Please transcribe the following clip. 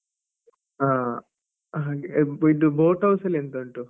ಆ ಹಾಗೆ ಯಿಬ್ ಇದು boat house ಅಲ್ಲಿ ಎಂತ ಉಂಟು?